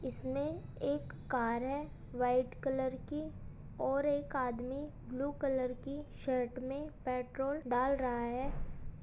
इसमें एक कार है व्हाइट कलर की और एक आदमी ब्लू कलर की शर्ट में पेट्रोल डाल रहा है।